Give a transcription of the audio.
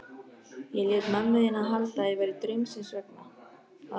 Ég lét mömmu þína halda að það væri draumsins vegna.